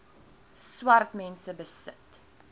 swart mense besit